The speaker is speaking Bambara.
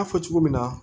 fɔ cogo min na